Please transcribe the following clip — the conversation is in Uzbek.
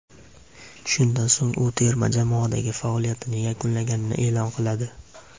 Shundan so‘ng u terma jamoadagi faoliyatini yakunlaganini e’lon qiladi.